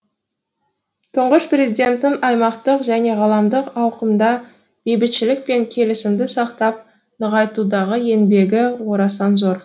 тұңғыш президенттің аймақтық және ғаламдық ауқымда бейбітшілік пен келісімді сақтап нығайтудағы еңбегі орасан зор